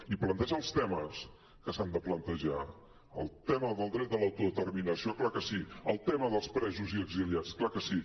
i plantejar els temes que s’han de plantejar el tema del dret de l’autodeterminació clar que sí el tema dels presos i exiliats clar que sí